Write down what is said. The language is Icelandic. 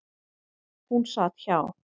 Hún sat hjá.